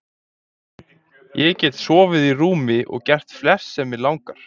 Ég get sofið í rúmi og gert flest sem mig langar til.